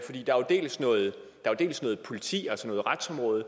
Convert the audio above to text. dels noget politi altså noget retsområde